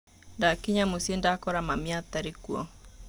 Ndakinya mũcĩĩ ndakora mami atarĩ kuo.